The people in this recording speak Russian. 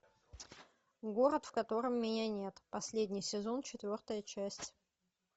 город в котором меня нет последний сезон четвертая часть